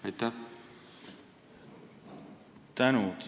Tänan!